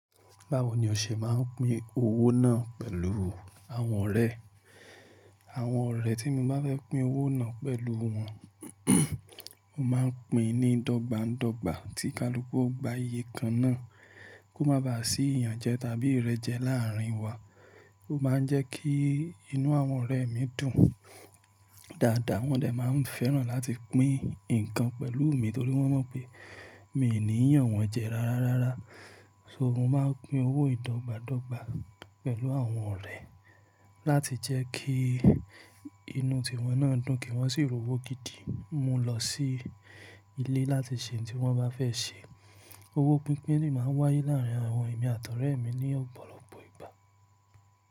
Báwo ni o ṣe máa ń pín owó náà pẹ̀lú àwọn ọ̀rẹ́? Àwọn ọ̀rẹ́ tí mo bá fẹ́ pín owó náà pẹ̀lú wọn, mo máa ń pín ní dọ́gba dọ́gba tí kálukú ó gba iye kan náà kó má ba à sí iyanjẹ tàbí ìrẹ́jẹ láàárín wa. Ó máa ń jẹ́ kí inú àwọn ọ̀rẹ́ mi dùn dáadáa, wọ́n dè máa ń fẹ́ràn láti pín nǹkan pẹ̀lú mi torí wọ́n mọ̀ pé mi ò ní yanwọ́n jẹ rárá rárá. So mo máa ń pín owó yìí dọ́gba dọ́gba pẹ̀lú àwọn ọ̀rẹ́ láti jẹ́ kí inú tiwọn náà dùn, kí wọ́n sì ròwó gidi mú lọ sí ilé láti ṣe ohun tí wọ́n bá fẹ́ ṣe. Owó pínpín lè máa ń wáyé láàárín àwọn ẹ̀mí àti ọ̀rẹ́ mi ní ọ̀pọ̀lọpọ̀ ìgbà.